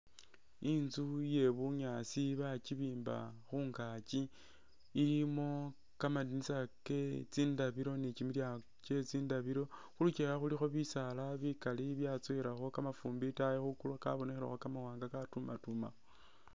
Inzu iye bunyaasi bakyibimba khungakyi ilimo ka madinisa ke tsindabilo ni kyimilyango kye tsindabilo khu lukyewa khulikho bisaala bikali byatsowelakho kamafumbi itaayi khwigulu kabonekhelekho ka mawanga ka tumatumakho.